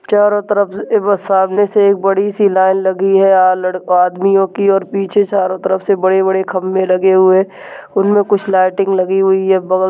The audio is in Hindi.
चारों तरफ एक बार सामने से एक बड़ी -सी लाइन लगी है अ-लड़ आदमियों की और पीछे चारो तरफ से बड़े-बड़े खंबे लगे हुए उनमें कुछ लाइटिंग लगी हुई है बगल--